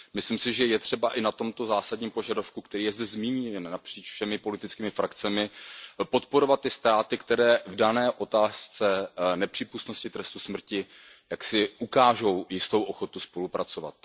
Myslím si, že je třeba i v tomto zásadním požadavku, který je zde zmíněn napříč všemi politickými frakcemi, podporovat ty státy, které v dané otázce nepřípustnosti trestu smrti jaksi ukážou jistou ochotu spolupracovat.